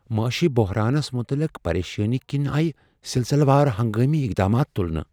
معاشی بحرانس متعلق پریشٲنی كِنۍ آیہِ سِلسِلہِ وار ہنگٲمی اقدامات تُلنہٕ ۔